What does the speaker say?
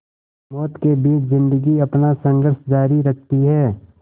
मौत के बीच ज़िंदगी अपना संघर्ष जारी रखती है